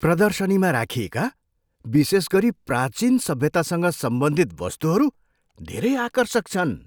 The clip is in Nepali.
प्रदर्शनीमा राखिएका, विशेषगरी प्राचिन सभ्यतासँग सम्बन्धित, वस्तुहरू धेरै आकर्षक छन्।